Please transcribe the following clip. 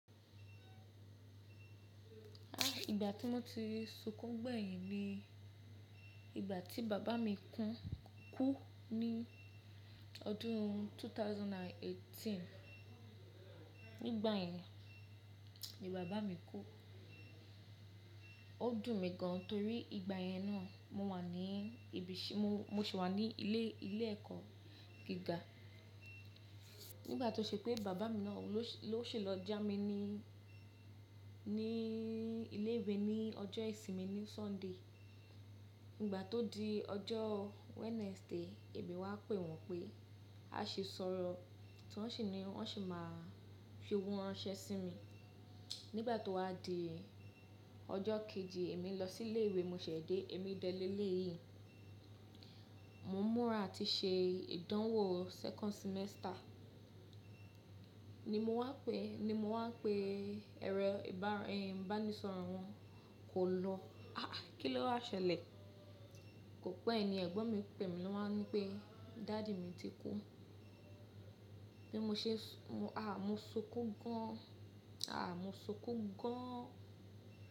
Ah! Ìgbà tí mo ti sunkún gbẹ̀yìn ni ìgbà tí bàbá mi kú ní ọdún ẹgbẹ̀rún méjì ó lé méjìdínlógún. Nígbà yẹn ni bàbá mi kú. Ó dùn mi gan torí ìgbà yẹn náà mo wà ní ibiṣẹ́, mo sì wà ní ilé, ilé ẹ̀kọ́ gíga. Nígbà tó ṣe pé bàbá mi náà ló ṣe lọ jámí ní, ní ilé ìwé ní ọjọ́ ìsinmi ní Sunday. Nígbà tó di ọjọ́ Wednesday èmi wá pè wọ́n pé a ṣi sọ̀rọ̀ tí wọ́n sì ni wọ́n sì máa fi owó ránṣẹ́ sí mi. Nígbà tó wá di ọjọ́ kejì èmi lọ sí ilé ìwé mo ṣẹ̀ dé èmi dẹ lé lè yìí. Mo ń múra àti ṣe ìdánwò second semester ni mo wá pè, ni mo wá pè ẹrọ ìbánisọ̀rọ̀ wọn kò lọ. Ah a! Kí lówá ṣẹlẹ̀? Kò pé ẹ ni ẹ̀gbọ́n mi pè mi ló wá ní pé daddy mi ti kú. Bí mo ṣe, ah mo sunkún gan. Ah mo sunkún gan.